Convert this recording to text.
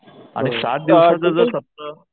आणि सात दिवसाचा जर सप्ताह